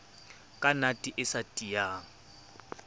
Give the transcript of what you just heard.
ka nate e sa tiyang